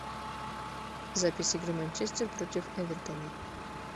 запись игры манчестер против эвертона